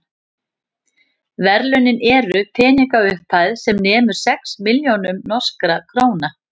verðlaunin eru peningaupphæð sem nemur sex milljónum norskra króna